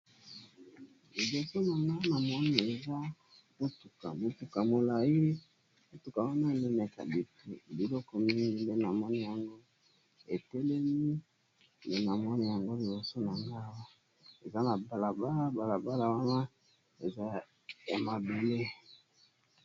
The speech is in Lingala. Na moni mutuka ya molai etelemi na balabala ya mabele.